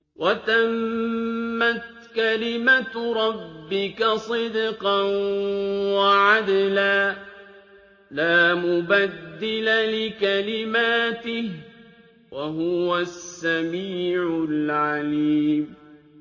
وَتَمَّتْ كَلِمَتُ رَبِّكَ صِدْقًا وَعَدْلًا ۚ لَّا مُبَدِّلَ لِكَلِمَاتِهِ ۚ وَهُوَ السَّمِيعُ الْعَلِيمُ